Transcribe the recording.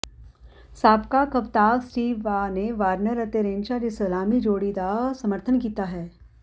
ਸਾਬਕਾ ਕਪਤਾਵ Steve Waugh ਨੇ ਵਾਰਨਰ ਅਤੇ ਰੇਨਸ਼ਾ ਦੀ ਸਲਾਮੀ ਜੋੜੀ ਦਾ ਸਮਰਥਨ ਕੀਤਾ ਹੈ